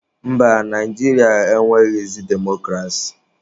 Mba, Naijiria enweghịzị demokrasi.